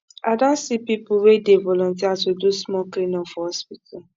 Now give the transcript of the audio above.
i don see pipu wey dey volunteer to do small cleanup for hospital